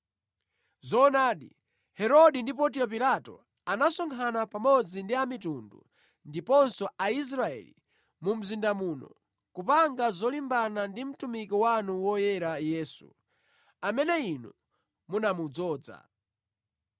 Zoonadi, Herode ndi Pontiyo Pilato anasonkhana pamodzi ndi amitundu ndiponso Aisraeli, mu mzinda muno, kupanga zolimbana ndi mtumiki wanu woyera Yesu, amene Inu munamudzoza.